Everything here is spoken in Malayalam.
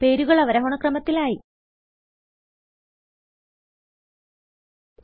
പേരുകൾ അവരോഹണ ക്രമത്തിൽ ആയി160